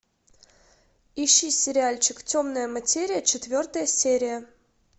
ищи сериальчик темная материя четвертая серия